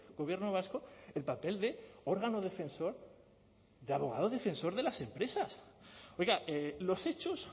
gobierno vasco el papel de órgano defensor de abogado defensor de las empresas oiga los hechos